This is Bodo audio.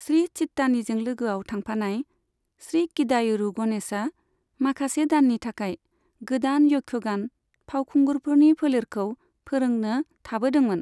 श्री चित्तानीजों लोगोआव थांफानाय श्री किदायूरू गणेशआ माखासे दाननि थाखाय गोदान यक्षगान फावखुंगुरफोरनि फोलेरखौ फोरोंनो थाबोदोंमोन।